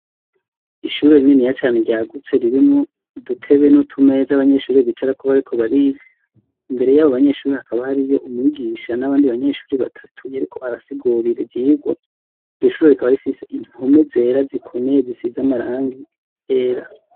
Ishure rininiya cane ryagutse ririmwo udutebe n'utumeza abanyeshuri bicarako bariko bariga, imbere yabo banyeshuri hakaba hariho umwigisha n'abandi banyeshuri batatu yariko arasigurira ivyigwa iryo shure rikaba rifise impome zera zikomeye zisize amarangi yera.